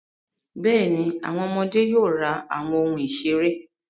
Bẹ́ẹ̀ni, àwọn ọmọdé yóò ra àwọn ohun ìṣeré.